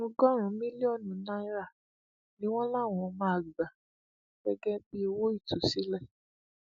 ọgọrùnún mílíọnù náírà ni wọn láwọn máa gbà gẹgẹ bíi owó ìtúsílẹ